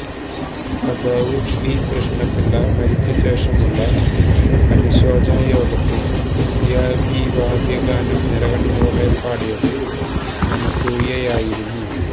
സഖാവ് പി കൃഷ്ണപിള്ള മരിച്ചശേഷമുള്ള അനുശോചന യോഗത്തിൽ അന്ത്യാഭിവാദ്യ ഗാനം നിറകണ്ണുകളോടെ പാടിയത് അനസൂയയായിരുന്നു